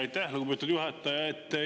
Aitäh, lugupeetud juhataja!